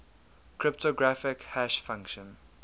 cryptographic hash function